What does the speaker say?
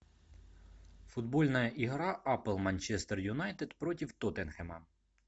футбольная игра апл манчестер юнайтед против тоттенхэма